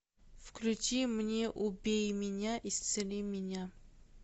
включи мне убей меня исцели меня